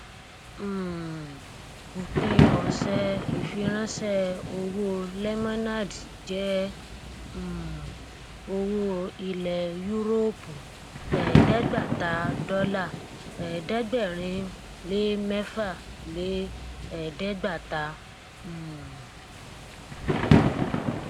um òpin ọsẹ ìfiránṣẹ owó lemonade jẹ um owó ilẹ yúróòpù ẹdẹẹgbàata dọlà ẹẹdẹgbẹrínlé mẹfà lé ẹdẹgbàáta um